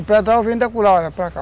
O pedral vem da curada para cá.